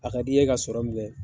A ka di ye ka sɔrɔ min kɛ